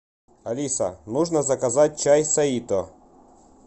алиса нужно заказать чай саито